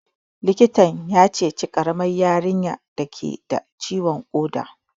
Likitan ya ceci ƙaramar yarinyar dake da ciwon ƙoda